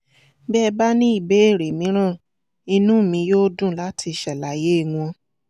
bí ẹ bá ní ìbéèrè mìíràn inú mi yóò dùn láti ṣàlàyé wọn